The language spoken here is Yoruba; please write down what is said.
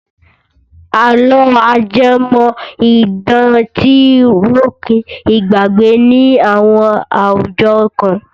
Àlọ́ ajẹ́mọ̀-idán ti ròkun ìgbàgbé ní àwọn àwùjọ kan.